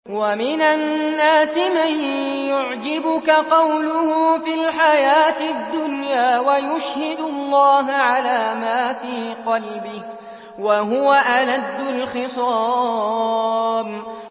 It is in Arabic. وَمِنَ النَّاسِ مَن يُعْجِبُكَ قَوْلُهُ فِي الْحَيَاةِ الدُّنْيَا وَيُشْهِدُ اللَّهَ عَلَىٰ مَا فِي قَلْبِهِ وَهُوَ أَلَدُّ الْخِصَامِ